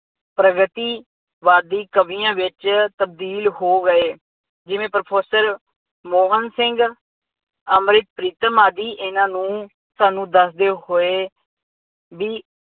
ਪ੍ਰਗਤੀਵਾਦੀ ਕਵੀਆਂ ਵਿੱਚ ਤਬਦੀਲ ਹੋ ਗਏ। ਜਿਵੇਂ ਪ੍ਰਫੈਸਰ ਮੋਹਨ ਸਿੰਘ ਅੰਮ੍ਰਿਤ ਪ੍ਰੀਤਮ ਆਦਿ ਇਹਨਾ ਨੂੰ ਸਾਨੂੰ ਦੱਸਦੇ ਹੋਏ ਵੀ